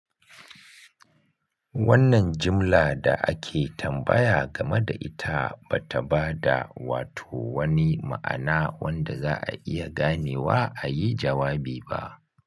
Wannan jimla da ake tambaya game da ita ba ta ba da wato wani ma'ana wanda za a iya ganewa a yi jawabi ba.